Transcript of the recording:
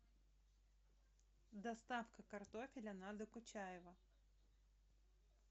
доставка картофеля на докучаева